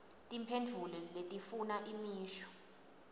timphendvulo letifuna imisho